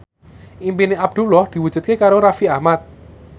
impine Abdullah diwujudke karo Raffi Ahmad